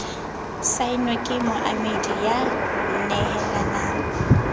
saennwe ke moamehi ya nehelanang